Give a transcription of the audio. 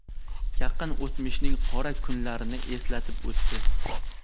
yaqin o‘tmishning qora kunlarini eslatib o‘tdi.